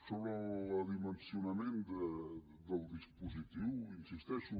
sobre el dimensionament del dispositiu hi insisteixo